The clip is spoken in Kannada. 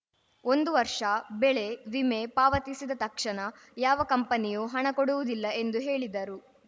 ಒಂದು ವರ್ಷ ಬೆಳೆ ವಿಮೆ ಪಾವತಿಸಿದ ತಕ್ಷಣ ಯಾವ ಕಂಪನಿಯೂ ಹಣ ಕೊಡುವುದಿಲ್ಲ ಎಂದು ಹೇಳಿದರು